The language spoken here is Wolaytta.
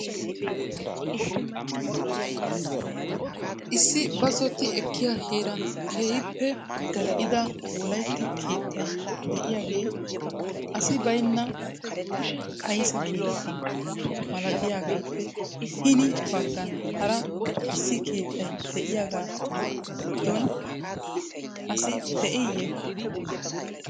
issi bazotti ekkiya heeran keehippe gall'ida Wolaytta keettay de'iyaagee asi baynna kayssa keetta malatiyaagappe hini baggan hara issi keettay de'iyaaga giddon asi de'iye?